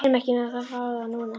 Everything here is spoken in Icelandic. Ég kæri mig ekki um að fá þá núna.